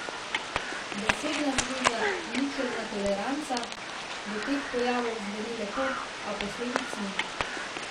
Besedna zveza ničelna toleranca do teh pojavov zveni lepo, a posledic ni.